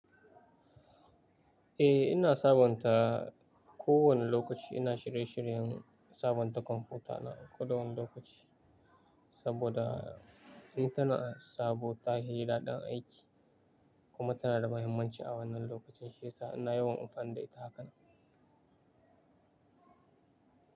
Eh, ina sabonta ko wane lokaci ina shirye-shiryen sabonta kwamfutana kowane lokaci saboda ita na sabo ta hi daɗin aiki kuma tana da mahimmanci a wannan lokacin shi sa'ina yawan amfanin da ita haka nan.